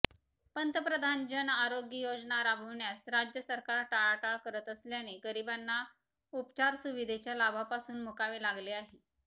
पंतप्रधान जनआरोग्य योजना राबविण्यास राज्य सरकार टाळाटाळ करत असल्याने गरीबांना उपचारसुविधेच्या लाभापासून मुकावे लागले आहे